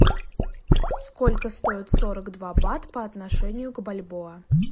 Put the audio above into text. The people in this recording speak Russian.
сколько стоит сорок два бат по отношению к бальбоа